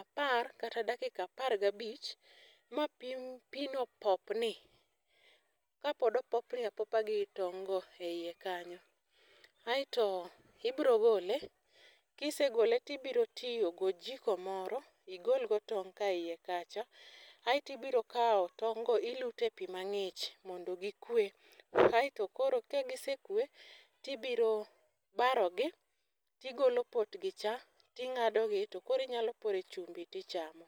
apar kata dakika apar gabich ma pii mapino popni ka pod opopni apopa gi tong' go e iye kanyo. Aeto ibiro gole kisegole tibiro tiyo gojiko moro igol go tong' ka iye kacha. Aeti biro kawo tong' go ilute pii mang'ich mondo gikwe kaeto koro ka gisekwe tibiro baro gi tigolo potgi cha ting'ado gi to koro inyalo pore chumbi tichamo.